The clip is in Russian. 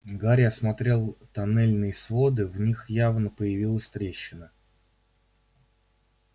гарри осмотрел тоннельные своды в них явно появилась трещина